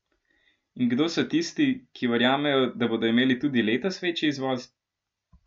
In kdo so tisti, ki verjamejo, da bodo imeli tudi letos večji izvoz?